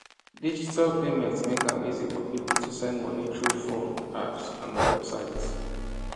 digital payments make am easy for people to send money through phone apps and websites